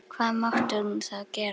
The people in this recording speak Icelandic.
Hvað mátti hún þá gera?